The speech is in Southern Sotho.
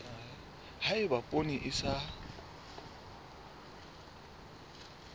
ha eba poone e sa